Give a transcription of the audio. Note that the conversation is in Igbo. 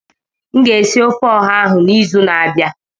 M ga-esi ofe ọha ahụ n'izu na-abịa.